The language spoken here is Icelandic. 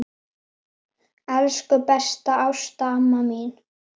Elsku besta Ásta amma mín.